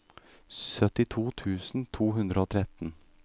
syttito tusen to hundre og tretten